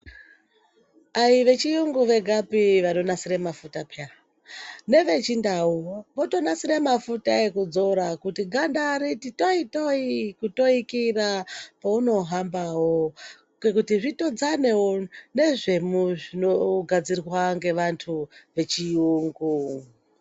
Ayivechirungu vegapi vanonasira mafuta peya, nevechindau votonasira mafuta ekudzora kuti ganda riti toyi toyi kutoikira peunohambawo ngekuti kuti zvitodzanewo nezvinogadzirwa ngevantu vechiyungu.